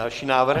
Další návrh.